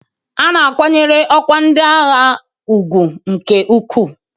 A na-akwanyere ọkwa ndị agha ugwu nke ukwuu.